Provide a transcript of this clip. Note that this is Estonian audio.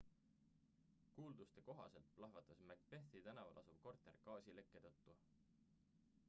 kuulduste kohaselt plahvatas macbethi tänaval asuv korter gaasilekke tõttu